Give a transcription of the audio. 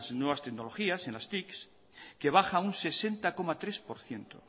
nuevas tecnologías en las tics que baja un sesenta coma tres por ciento